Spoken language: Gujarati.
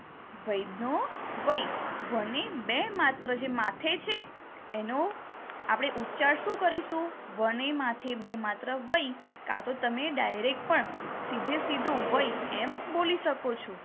વૈધનો વૈ વને બે માત્ર જે માથે છે એનો આપણે ઉચ્ચાર શું કરીશું? વને માથે બે માત્ર વૈ કાં તો તમે direct પણ સીધે સીધું વૈ એમ બોલી શકોશો.